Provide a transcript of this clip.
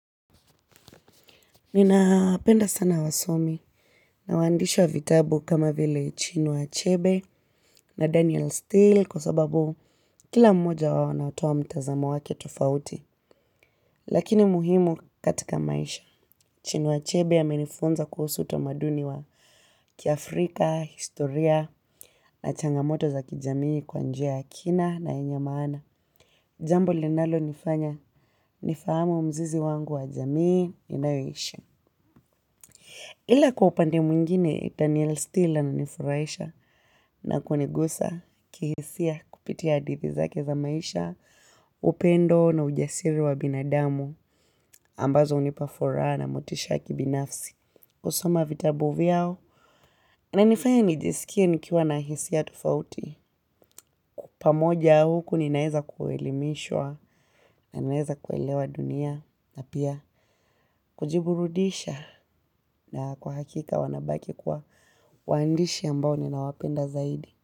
Nina penda sana wasomi na waandishi wa vitabu kama vile Chinua Achebe na Daniel Steele kwa sababu kila mmoja wao anatoa mtazamo wake tofauti. Lakini muhimu katika maisha. Chinua Chebe amenifunza kuhusu utamaduni wa kiafrika, historia na changamoto za kijamii kwa njia ya kina na yenye maana. Jambo linalo nifanya, nifahamu mzizi wangu wa jamii ninayo ishi. Ila kwa upande mwingine, Daniel Stillan alinifurahisha na kunigusa kihisia kupitia hadithi zake za maisha, upendo na ujasiri wa binadamu ambazo hunipa furaha na motisha ya kibinafsi. Kusoma vitabu vyao, inanifanya nijiskie nikiwa na hisia tofauti. Pamoja ya huku ninaeza kuelimishwa na naweza kuelewa dunia na pia kujiburudisha. Na kwa hakika wanabaki kuwa waandishi ambao ninawapenda zaidi.